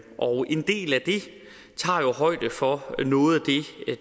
tager højde for